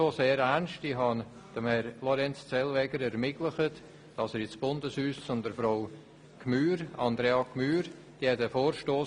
Ich habe Herrn Lorenz Zellweger den Kontakt ins Bundeshaus zu Frau Andrea Gmür ermöglicht.